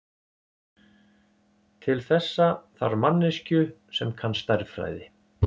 Til þessa þarf manneskju sem kann stærðfræði.